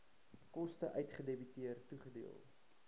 koste uitgedebiteer toegedeel